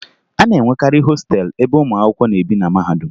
A na-enwekarị hostelụ ebe ụmụ akwụkwọ na-ebi na mahadum